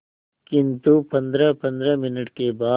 किंतु पंद्रहपंद्रह मिनट के बाद